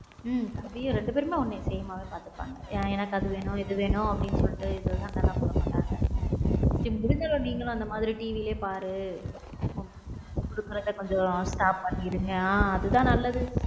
தம்பியும் ரெண்டு பேரும்ஒன்ன same ஆ தான் பார்த்துப்பாங்க எனக்கு அது வேணும் இது வேணும் அப்படின்னு சொல்லிட்டு சண்டை எல்லாம் போட மாட்டாங்க இனிமேல் நீங்களும் அந்த மாதிரி TV யில் பாரு mobile phone கொடுக்கிறது கொஞ்சம் stop பண்ணி இருங்க ஹம் அதுதான் நல்லது.